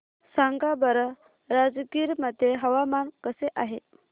सांगा बरं राजगीर मध्ये हवामान कसे आहे